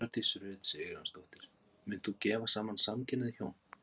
Hjördís Rut Sigurjónsdóttir: Munt þú gefa saman samkynhneigð hjón?